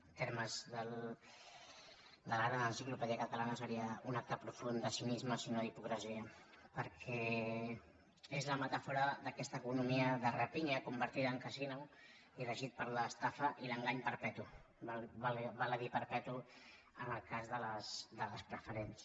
en termes de la gran enciclopèdia catalanade cinisme si no d’hipocresia perquè és la metàfora d’aquesta economia de rapinya convertida en casino i regida per l’estafa i l’engany perpetu val a dir per·petu en el cas de les preferents